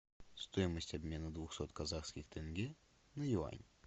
стоимость обмена двухсот казахских тенге на юань